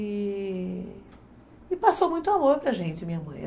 E.... E passou muito amor para gente, minha mãe.